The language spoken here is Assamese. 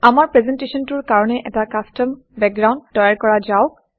আমাৰ প্ৰেজেণ্টেশ্যনটোৰ কাৰণে এটা কাষ্টম বেকগ্ৰাউণ্ড তৈয়াৰ কৰা যাওক